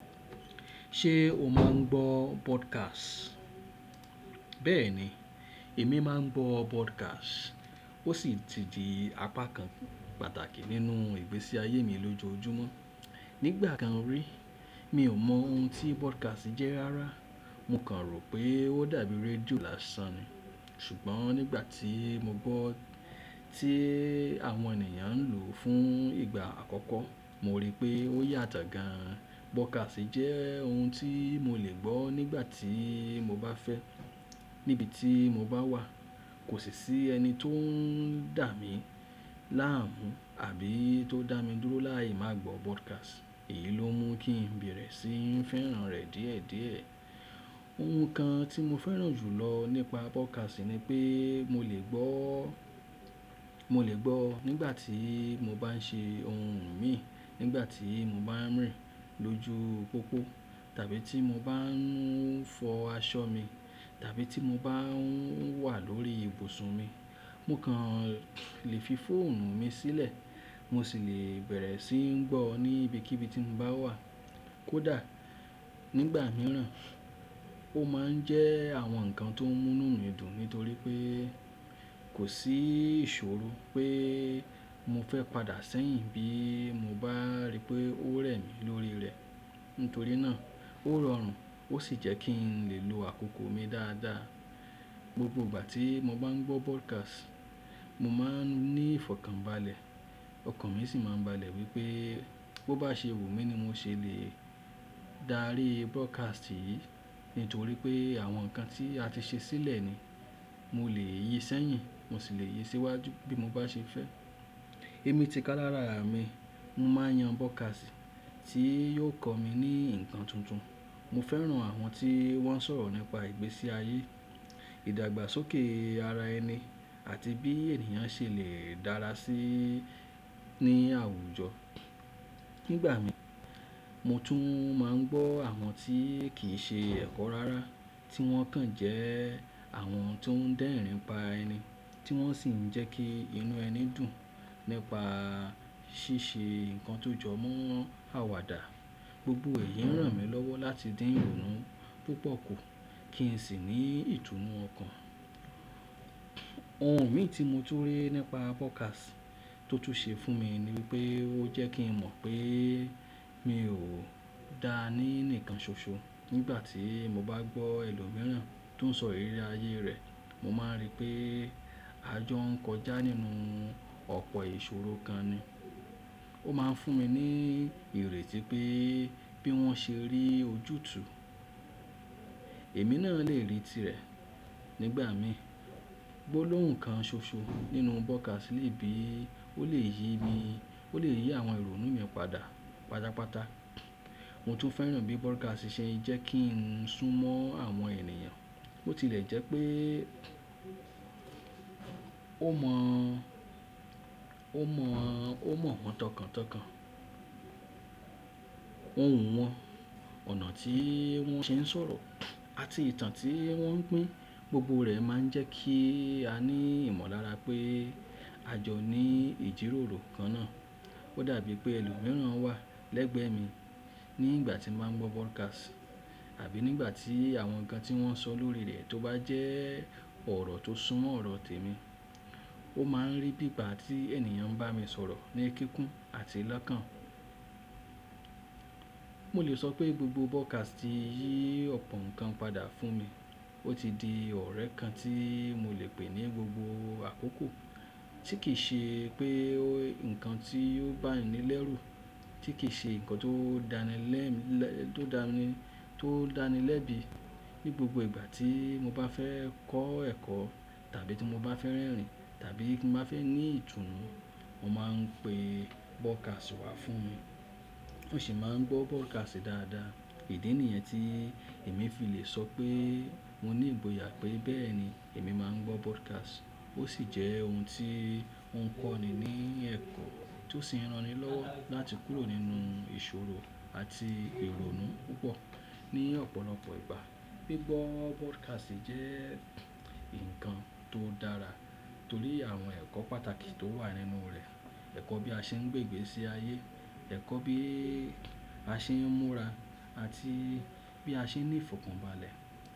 Ṣé o máa ń gbọ́ podcast? Bẹ́ẹ̀ni, èmi máa ń gbọ́ podcast. Ó sì ti di apá kan pàtàkì nínú ìgbésí ayé mi lójoojúmọ́. Nígbà kan rí, mi ò mọ ohun tí podcast jẹ́ rárá. Mo kàn rò pé ó dàbí rédíò lásan ni. Ṣùgbọ́n nígbà tí mo gbọ́ tí àwọn ènìyàn ń lò ó fún ìgbà àkọ́kọ́, mo rí pé ó yàtọ̀ gan. Podcast jẹ́ ohun tí mo lè gbọ́ nígbà tí mo bá fẹ́, níbi tí mo bá wà. Kò sì sí ẹni tó ń dà mí láàmú àbí tó dà mí dúró láì máa gbọ́ podcast. Èyí ló mú kí n bẹ̀rẹ̀ sí ń fẹ́ràn rẹ̀ díẹ̀díẹ̀. Ohun kan tí mo fẹ́ràn jù lọ nípa podcast ni pé mo lè gbọ́, mo lè gbọ́ nígbà tí mo bá ń ṣe ohun mi, nígbà tí mo bá ń rìn lójú pópó tàbí tí mo bá ń fọ aṣọ mi tàbí tí mo bá ń wà lórí ibùsùn mi. Mo kàn lè fi fóònù mi sílẹ̀, mo sì lè bẹ̀rẹ̀ sí ń gbọ́ ní ibikíbi tí mo bá wà. Kódà nígbà mìíràn, ó máa ń jẹ́ àwọn nǹkan tó ń mú inú mi dùn nítorí pé kò sí ìṣòro pé mo fẹ́ padà sẹ́yìn bí mo bá rí pé ó rẹ̀ mí lórí rẹ̀. Nítorí náà ó rọrùn ó sì jẹ́ kí n lè lo àkókò mi dáadáa. Gbogbo ìgbà tí mo bá ń gbọ́ podcast, mo máa ń ní ìfọ̀kànbalẹ̀. Ọkàn mi sì máa ń balẹ̀ wípé bó bá ṣe wù mí ni mo ṣe lè dárí podcast yìí nítorí pé àwọn nǹkan tí a ti ṣe sílẹ̀ ni. Mo lè yí i sẹ́yìn mo sì lè yí i síwájú bí mo bá ṣe fẹ́. Èmi ti ká lára mí, mo máa ń yan podcast tí yóò kọ́ mi ní ǹkan tuntun. Mo fẹ́ràn àwọn tí wọ́n ń sọ̀rọ̀ nípa ìgbésí ayé, ìdàgbàsókè ara ẹni àti bí ènìyàn ṣe lè dára sí ní àwùjọ. Nígbà mi, mo tún máa ń gbọ́ àwọn tí kì í ṣe ẹ̀kọ́ rárá tí wọ́n kàn jẹ́ àwọn tó ń dẹ́rìn pa ẹni tí wọ́n sì ń jẹ́ kí inú ẹni dùn nípa ṣíṣe ǹkan tó jọmọ́ àwàdà. Gbogbo èyí ń ràn mí lọ́wọ́ láti dín òórùn púpọ̀ kù kí n sì ní ìtùnú ọkàn. Ohun mìí tí mo túri nípa podcast tó tún ṣe fún mi ni pé ó jẹ́ kí n mọ̀ pé mi ò da ní nǹkan ṣoṣo. Nígbà tí mo bá gbọ́ ẹni lò míràn tó ń sọ ìrírí ayé rẹ̀, mo máa ń rí pé àjọ ń kọjá nínú ọ̀pọ̀ ìṣòro kan ni. Ó máa ń fún mi ní ìrètí pé bí wọ́n ṣe rí ojútùú, èmi náà lè rí i tìrẹ. Nígbà mi, gbólóhun kan ṣoṣo nínú podcast lè bí, ó lè yí mi, ó lè yí àwọn ìrònú mi padà pàtàpàtà. Mo tún fẹ́ràn bí podcast ṣe ń jẹ́ kí n sún mọ́ àwọn ènìyàn. Ó tilẹ̀ jẹ́ pé ó mọ̀, ó mọ̀, ó mọ̀ wọ́n tọkàntọkàn, ohùn wọn, ọ̀nà tí wọ́n ṣe ń sọ̀rọ̀ àti ìtàn tí wọ́n pín. Gbogbo rẹ̀ máa ń jẹ́ kí a ní ìmọ̀lára pé àjọ ní ìjíròrò kan náà. Ó dàbí pé ẹni lò míràn wà lẹ́gbẹ̀ẹ́ mi nígbà tí mo máa ń gbọ́ podcast àbí nígbà tí àwọn nǹkan tí wọ́n sọ lórí rẹ̀ tó bá jẹ́ ọ̀rọ̀ tó súnmọ́ ọ̀rọ̀ tèmi. Ó máa ń rí bí ìgbà tí ènìyàn ń bá mi sọ̀rọ̀ ní kíkún àti lọ́kàn. Mo lè sọ pé gbogbo podcast yí ọ̀pọ̀ nǹkan padà fún mi. Ó ti di ọ̀rẹ́ kan tí mo lè pè ní gbogbo àkókò tí kì í ṣe pé nǹkan tí ó bá ni lẹ́rù, tí kì í ṣe nǹkan tó dání lẹ́, tó dání, tó dání lẹ́bi. Ní gbogbo ìgbà tí mo bá fẹ́ kọ́ ẹ̀kọ́ tàbí tí mo bá fẹ́ rẹ́rìn-ín tàbí kí mo bá fẹ́ ní ìtùnú, mo máa ń pe podcast wá fún mi. Mo sì máa ń gbọ́ podcast dáadáa. Idi ni yen èmi fi lè sọ pé mo ní ìgboyà pé bẹ́ẹ̀ni èmi máa ń gbọ́ podcast. Ó sì jẹ́ ohun tí ó ń kọ́ni ní ẹ̀kọ́ tó sì ń ranni lọ́wọ́ láti kúrò nínú ìṣòro àti ìrònú púpọ̀ ní ọ̀pọ̀lọpọ̀ ìgbà. Gbigbọ́ podcast jẹ́ nǹkan tó dára torí àwọn ẹ̀kọ́ pàtàkì tó wà nínú rẹ̀. Ẹ̀kọ́ bí a ṣe ń gbé ìgbésí ayé, ẹ̀kọ́ bí a ṣe ń múra àti bí a ṣe ń ní ìfọ̀kànbalẹ̀.